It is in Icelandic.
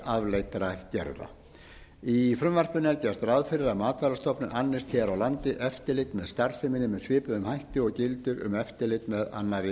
afleiddra gerða í frumvarpinu er gert ráð fyrir að matvælastofnun annist hér á landi eftirlit með starfseminni með svipuðum hætti og gildir um eftirlit með annarri